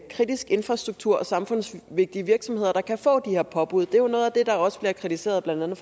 kritisk infrastruktur og samfundsvigtige virksomheder der kan få de her påbud det er jo noget af det der også bliver kritiseret blandt andet